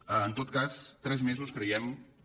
en tot cas tres mesos creiem que